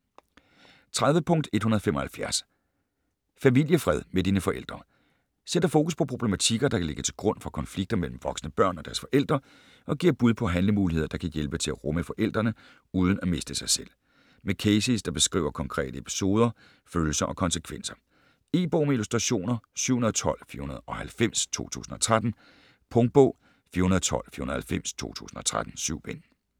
30.175 Familiefred med dine forældre Sætter fokus på problematikker, der kan ligge til grund for konflikter mellem voksne børn og deres forældre, og giver bud på handlemuligheder, der kan hjælpe til at rumme forældrene uden at miste sig selv. Med cases der beskriver konkrete episoder, følelser og konsekvenser. E-bog med illustrationer 712490 2013. Punktbog 412490 2013. 7 bind.